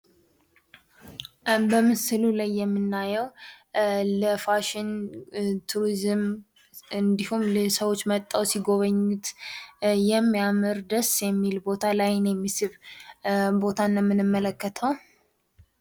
በምሥሉ ላይ የምናየው ለፋሽን ቱሪዝም እንዲሁም፤ ሰዎች መጥተው ሲጎበኙት የሚያምር ደስ የሚል ቦታ ለአይን የሚስብ ቦታን ነው እንመልከተው።